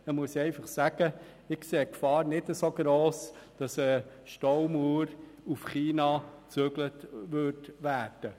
Die Gefahr, dass eine Staumauer nach China transportiert wird, erachte ich als nicht so gross.